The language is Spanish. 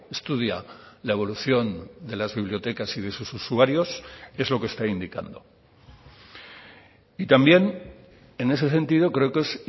estudia la evolución de las bibliotecas y de sus usuarios es lo que está indicando y también en ese sentido creo que es